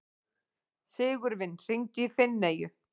Sigurvin, hringdu í Finneyju.